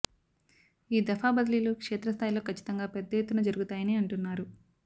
ఈ దఫా బదిలీలు క్షేత్ర స్థాయిలో కచ్చితంగా పెద్ద ఎత్తున జరుగుతాయని అంటున్నారు